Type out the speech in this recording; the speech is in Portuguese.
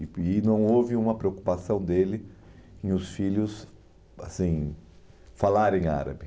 E e não houve uma preocupação dele em os filhos assim falarem árabe.